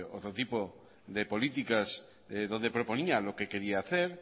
otro tipo de políticas donde proponía lo que quería hacer